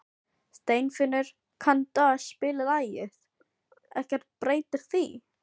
Steinfinnur, kanntu að spila lagið „Ekkert breytir því“?